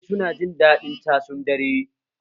Ɗalibai su na jin daɗin casun dare